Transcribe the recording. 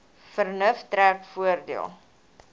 vernuf trek voordeel